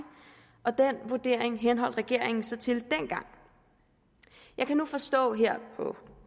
den vurdering henholdt regeringen sig til dengang jeg kan forstå på